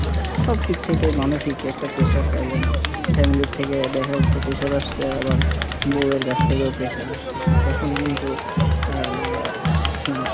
সব দিক থেকে মানসিক একটা pressure পাইলেন, family থেকে দেখা যাচ্ছে pressure আসছে আবার বউ এর কাছ থেকেও pressure আসতেছে, তখন কিন্তু আর সিম~